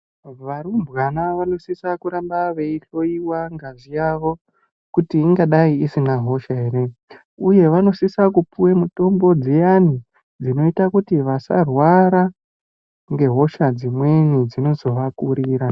Varumbwana vanosisa kuramba yeyihloyiwa ngazi yavo kuti ingadai isina hosha here uye vanosisa kupiwa mitombo dziya dzinoita kuti vasarwara ngehosha dzimweni dzino zovakurira.